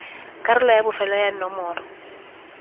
karolo ya bofelo ya nomoro